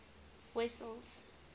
wessels